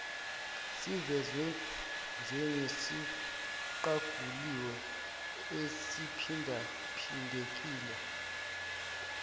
sivezwe njengesiqaguliwe esiphindaphindekile